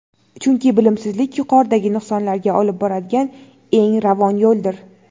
Chunki bilimsizlik yuqoridagi nuqsonlarga olib boradigan eng ravon yo‘ldir!.